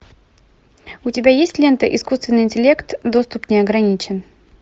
у тебя есть лента искусственный интеллект доступ не ограничен